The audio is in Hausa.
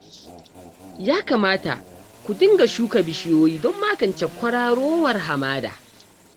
Ya kamata ku dinga shuka bishiyoyi don magance kwararowar hamada